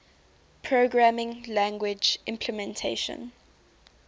programming language implementation